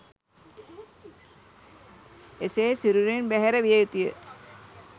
එසේ සිරුරින් බැහැර විය යුතුය.